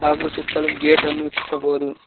ಹಾಗೂ ಸುತ್ತಲೂ ಗೇಟ್ ಅನ್ನು ವೀಕ್ಷಿಸಬಹುದು.